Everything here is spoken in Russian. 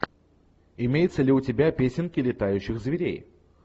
имеется ли у тебя песенки летающих зверей